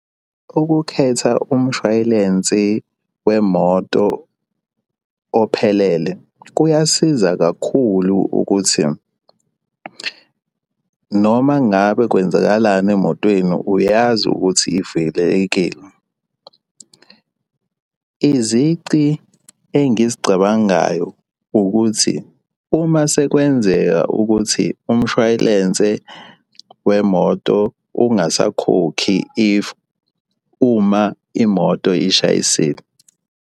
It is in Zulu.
Ukukhetha umshwalensi wemoto ophelele kuyasiza kakhulu ukuthi noma ngabe kwenzakalani emotweni uyazi ukuthi ivikelekile. Izici engizicabangayo ukuthi uma sekwenzeka ukuthi umshwalense wemoto ungasakhokhi if uma imoto ishayisile.